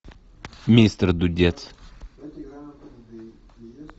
мистер дудец